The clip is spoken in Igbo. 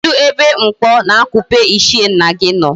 Kedu ebe mkpo na akupe ichie nna gi no?